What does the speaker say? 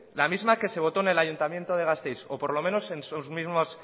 la misma que se votó en el ayuntamiento de gasteiz o por lo menos